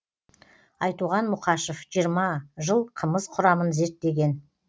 айтуған мұқашев жиырма жыл қымыз құрамын зерттеген